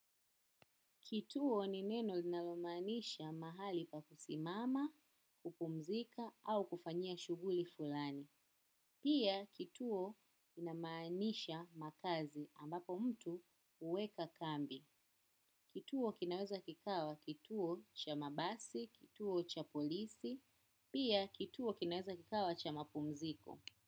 Kituo ni neno linalomaanisha mahali pa kusimama, kupumzika au kufanyia shuguli fulani. Pia kituo inamaanisha makazi ambapo mtu huweka kambi. Kituo kinaweza kikawa kituo cha mabasi, kituo cha polisi, pia kituo kinaweza kikawa cha mapumziko.